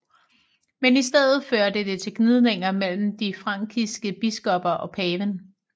Men i stedet førte det til gnidninger mellem de frankiske biskopper og paven